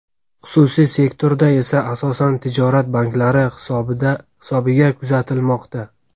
xususiy sektorda esa asosan tijorat banklari hisobiga kuzatilmoqda.